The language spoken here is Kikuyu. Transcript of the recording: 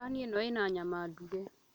Thani ĩno ĩna nyama nduge